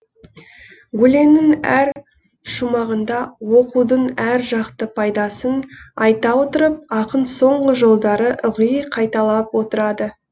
өлеңнің әр шумағында оқудың әр жақты пайдасын айта отырып ақын соңғы жолдары ылғи қайталап отырады